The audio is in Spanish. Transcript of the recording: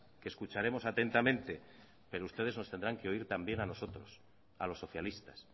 que escucharemos atentamente pero ustedes nos tendrán que oír también a nosotros a los socialistas